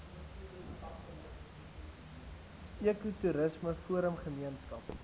ekotoerisme forum gemeenskap